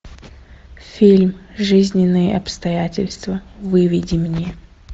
фильм жизненные обстоятельства выведи мне